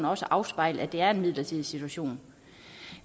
også afspejle at det er en midlertidig situation